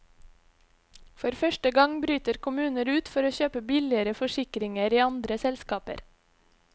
For første gang bryter kommuner ut for å kjøpe billigere forsikringer i andre selskaper.